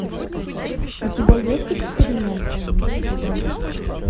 у тебя есть эксперимент